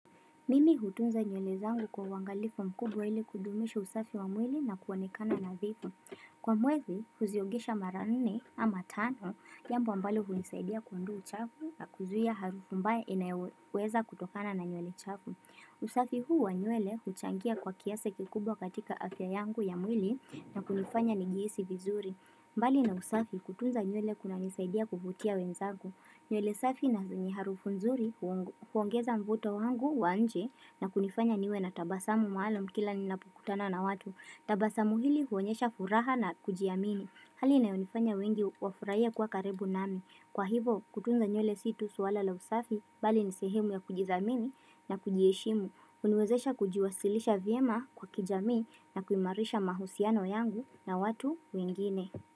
Mimi hutunza nywele zangu kwa uwangalifu mkubwa ili kudumisha usafi wa mwili na kuonekana nadhifu. Kwa mwezi, huziogesha mara nne ama tano, jambo ambalo hunisaidia kuondoa uchafu na kuzuia harufu mbaya inayoweza kutokana na nywele chafu. Usafi huwa nywele huchangia kwa kiasa kikubwa katika afya yangu ya mwili na kunifanya nijihisi vizuri. Mbali na usafi kutunza nywele kuna nisaidia kuvutia wenzangu. Nywele safi na zenye harufu nzuri huongeza mvuto wangu wa nje na kunifanya niwe na tabasamu maalum kila ninapokutana na watu. Tabasamu hili huonyesha furaha na kujiamini. Hali inayonifanya wengi wafurahie kuwa karibu nami. Kwa hivo kutunza nywele situ swala la usafi bali nisehemu ya kujidhamini na kujieshimu. Huniwezesha kujiwasilisha vyema kwa kijamii na kuimarisha mahusiano yangu na watu wengine.